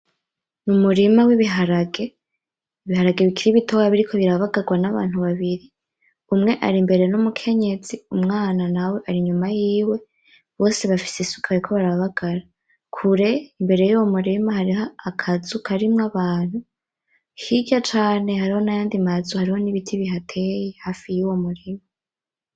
Umurima w'ibiharage, ibiharage bikiri bitoya biriko barabagarwa nabantu babiri, umwe ari imbere numukenyezi umwana nawe ari inyuma yiwe, bose bafise isuka bariko barabagara. Kure imbere yuwomurima hariho akazu karimwo abantu, hirya cane hariho nayandi mazu hariho nibiti bihateye hafi yuwo murima.